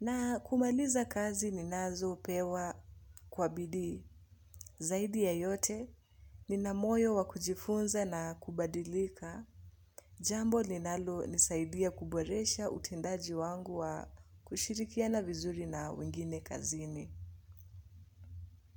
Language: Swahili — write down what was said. na kumaliza kazi ninazo pewa kwa bidii. Zaidi ya yote, ninamoyo wakujifunza na kubadilika, jambo linalo nisaidia kuboresha utendaji wangu wa kushirikiana vizuri na wengine kazini.